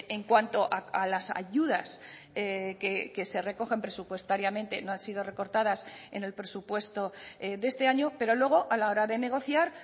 en cuanto a las ayudas que se recogen presupuestariamente no han sido recortadas en el presupuesto de este año pero luego a la hora de negociar